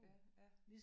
Ja ja